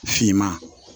Finman